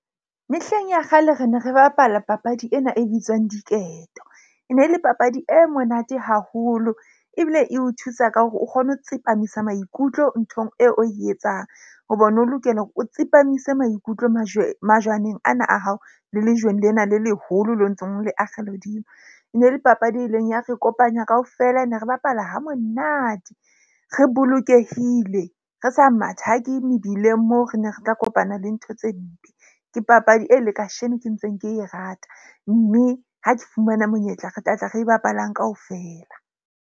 Mehleng ya kgale re ne re bapala papadi ena e bitswang diketo. E ne le papadi e monate haholo ebile e o thusa ka hore o kgone ho tsepamisa maikutlo nthong eo o e etsang. Hobane o lokela hore o tsepamise maikutlo majweng majwaneng ana a hao le lejweng lena le leholo le ntseng o le akgela hodimo. E ne le papadi, e leng ya re kopanya kaofela. Ne re bapala ha monate, re bolokehile, re sa mathake mebileng moo re ne re ka kopana le ntho tse mpe. Ke papadi e le kasheno ke ntseng ke e rata. Mme ha ke fumana monyetla, re tlatla re bapalang kaofela.